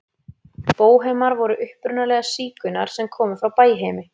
Bóhemar voru upprunalega sígaunar sem komu frá Bæheimi.